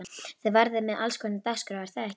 Þið verðið með allskonar dagskrá er það ekki?